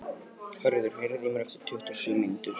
Höður, heyrðu í mér eftir tuttugu og sjö mínútur.